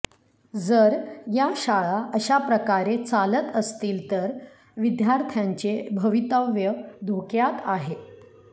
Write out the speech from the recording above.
जर या शाळा अशाप्रकारे चालत असतील तर विद्यार्थ्यांचे भवितव्य धोक्यात आहे